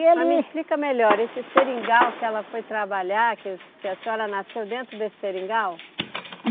E ele... Mas me explica melhor, esse seringal que ela foi trabalhar, que o que a senhora nasceu dentro desse seringal?